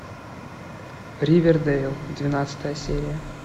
ривердэйл двенадцатая серия